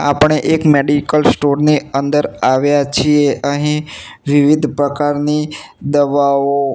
આપણે એક medical store ની અંદર આવ્યા છીએ અહીં વિવિધ પ્રકારની દવાઓ--